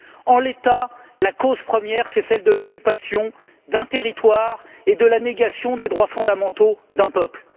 En l'état, la cause première, c'est celle de l'occupation d'un territoire et de la négation des droits fondamentaux d'un peuple.